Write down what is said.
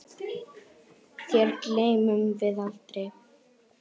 Þér gleymum við aldrei.